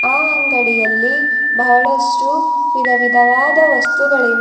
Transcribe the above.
ಆ ಅಂಗಡಿಯಲ್ಲಿ ಬಹಳಷ್ಟು ವಿದವಿದವಾದ ವಸ್ತುಗಳಿವೆ.